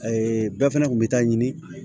bɛɛ fɛnɛ kun bɛ taa ɲini